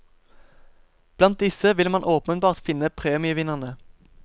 Blant disse vil man åpenbart finne premievinnerne.